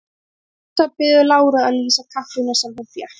Lísa biður Láru að lýsa kaffinu sem hún fékk.